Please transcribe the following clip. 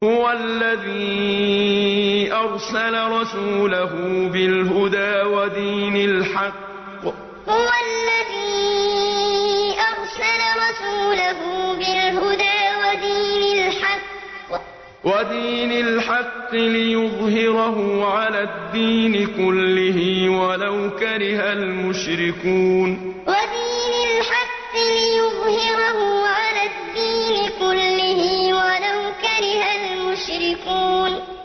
هُوَ الَّذِي أَرْسَلَ رَسُولَهُ بِالْهُدَىٰ وَدِينِ الْحَقِّ لِيُظْهِرَهُ عَلَى الدِّينِ كُلِّهِ وَلَوْ كَرِهَ الْمُشْرِكُونَ هُوَ الَّذِي أَرْسَلَ رَسُولَهُ بِالْهُدَىٰ وَدِينِ الْحَقِّ لِيُظْهِرَهُ عَلَى الدِّينِ كُلِّهِ وَلَوْ كَرِهَ الْمُشْرِكُونَ